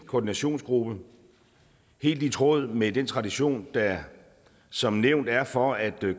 koordinationsgruppe helt i tråd med den tradition der som nævnt er for at